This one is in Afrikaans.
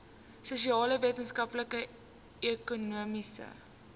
sosiale wetenskappe ekonomiese